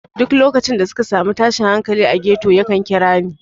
Duk lokacin da suka sami tashin hankali a ghetto yakan kira ni.